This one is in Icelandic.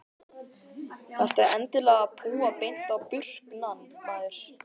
Þarftu endilega að púa beint á burknann maður?